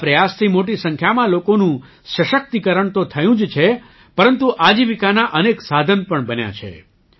આ પ્રયાસથી મોટી સંખ્યામાં લોકોનું સશક્તિકરણ તો થયું જ છે પરંતુ આજીવિકાનાં અનેક સાધન પણ બન્યાં છે